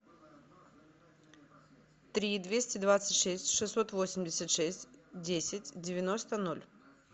три двести двадцать шесть шестьсот восемьдесят шесть десять девяносто ноль